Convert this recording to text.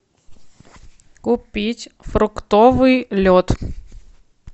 купить фруктовый лед